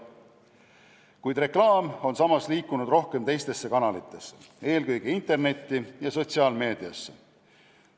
Kuid reklaam on liikunud rohkem teistesse kanalitesse, eelkõige internetti ja sotsiaalmeediasse.